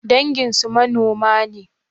Danginsu manoma ne?